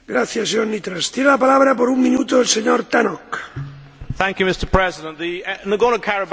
Mr President, the Nagorno Karabakh question is often described as a frozen conflict but this is far from the truth.